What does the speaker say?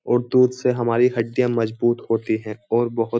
और दूध से हमारी हड्डियाँ मजबूत होती है और बहुत --